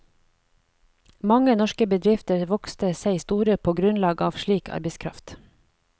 Mange norske bedrifter vokste seg store på grunnlag av slik arbeidskraft.